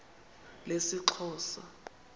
lesixhosa